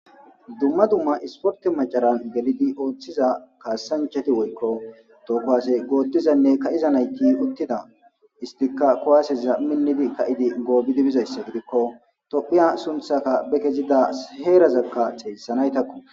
Dumma dumma isporte macaran gelidi ooththiza kaasanchati woykko tookowasey goottizanne ka7iza nayti uttida istika kowaaseza minnidi ka7idi goobidibizayssa gidikko topphiya sunthaka be kezida heerazakka xeessanaytakko.